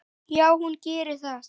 Já, hún gerir það.